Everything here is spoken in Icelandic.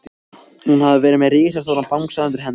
Hún hafði verið með risastóran bangsa undir hendinni.